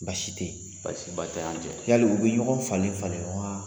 Baasi tɛ yen, baasiba tɛ an cɛ, yaliu bɛ ɲɔgɔn falen-falen wa